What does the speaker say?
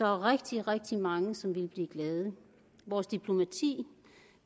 er rigtig rigtig mange som ville blive glade vores diplomati